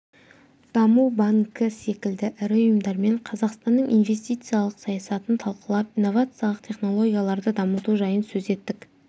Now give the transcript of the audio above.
даму банкі секілді ірі ұйымдармен қазақстанның инвестициялық саясатын талқылап инновациялық технологияларды дамыту жайын сөз еттік